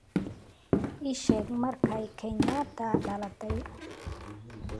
ii sheeg markay kenyatta dhalatay